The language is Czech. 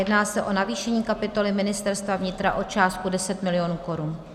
Jedná se o navýšení kapitoly Ministerstva vnitra o částku 10 mil. korun.